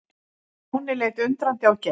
Stjáni leit undrandi á Geir.